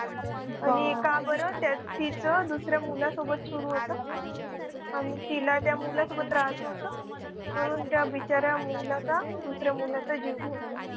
आणि हे का बरं दुसऱ्या मुलासोबत सुरू होतं आणि तिला त्या मुलासोबत राहायचं होतं म्हणून त्या बिचाऱ्या मुलाचा दुसऱ्या मुलाचा जीव घेऊन टाकला.